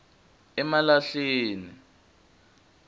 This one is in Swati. malahleni